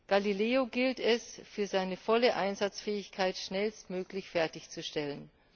Galileo gilt es für seine volle Einsatzfähigkeit schnellstmöglich fertigzustellen.